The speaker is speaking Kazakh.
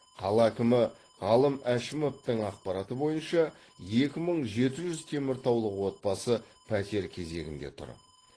қала әкімі ғалым әшімовтың ақпараты бойынша екі мың жеті жүз теміртаулық отбасы пәтер кезегінде тұр